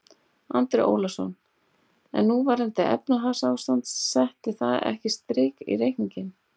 Andri Ólafsson: En núverandi efnahagsástand, setti það ekkert strik í reikninginn?